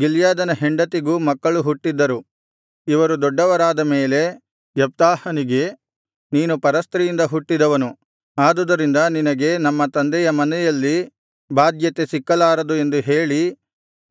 ಗಿಲ್ಯಾದನಿಗೆ ಹೆಂಡತಿಗೂ ಮಕ್ಕಳು ಹುಟ್ಟಿದ್ದರು ಇವರು ದೊಡ್ಡವರಾದ ಮೇಲೆ ಯೆಪ್ತಾಹನಿಗೆ ನೀನು ಪರಸ್ತ್ರೀಯಿಂದ ಹುಟ್ಟಿದವನು ಆದುದರಿಂದ ನಿನಗೆ ನಮ್ಮ ತಂದೆಯ ಮನೆಯಲ್ಲಿ ಬಾಧ್ಯತೆ ಸಿಕ್ಕಲಾರದು ಎಂದು ಹೇಳಿ